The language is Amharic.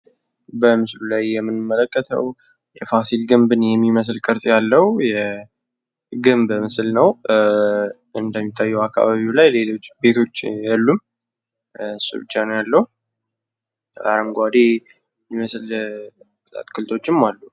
በምስሉል አይ የምንመለከተው የፋሲል ግንብን የሚመስል ቅርጽ ያለው የግንብ ምስል ነው። እንደሚታይው አካባቢው ላይ ሌሎች ቤቶች የሉም እሱ ብቻ ነው ያለው። አረንጓዴ የሚመስል አትክልቶችም አሉ።